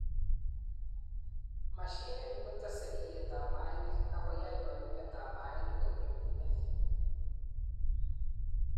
Mashinini kotese iyeetab mainik ak koyai kayumetab mainik ko nyumnyumit.